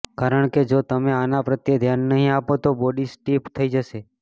કારણકે જો તમે આના પ્રત્યે ધ્યાન નહીં આપો તો બોડી સ્ટીફ થઈ જશે